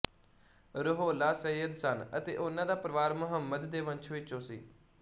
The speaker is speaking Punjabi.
ਰੁਹੋੱਲਾ ਸਯਦ ਸਨ ਅਤੇ ਉਨ੍ਹਾਂ ਦਾ ਪਰਵਾਰ ਮੁਹੰਮਦ ਦੇ ਵੰਸ਼ ਵਿੱਚੋਂ ਸੀ